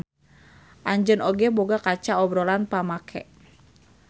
Anjeun oge boga kaca obrolan pamake.